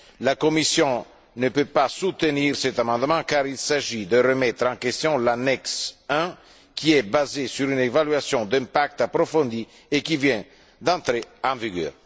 La Commission ne peut pas soutenir cet amendement car il s'agit de remettre en question l'annexe I, qui est basée sur une évaluation d'impact approfondie et qui vient d'entrer en vigueur.